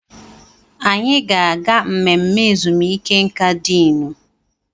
Anyị ga-aga mmemme ezumike nka diinu.